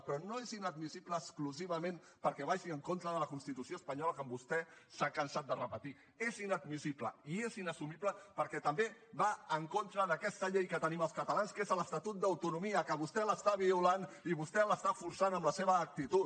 però no és inadmissible exclusivament perquè vagi en contra de la constitució espanyola com vostè s’ha cansat de repetir és inadmissible i és inassumible perquè també va en contra d’aquesta llei que tenim els catalans que és l’estatut d’autonomia que vostè l’està violant i vostè l’està forçant amb la seva actitud